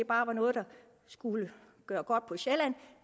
bare var noget der skulle gøre godt på sjælland